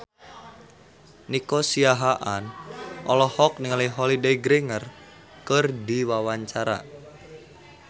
Nico Siahaan olohok ningali Holliday Grainger keur diwawancara